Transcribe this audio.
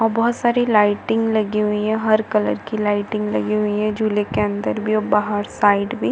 और बहुत सारी लाइटिंग लगी हुई है हर कलर की लाइटिंग लगी है झूले के अंदर भी और बाहर साइड भी--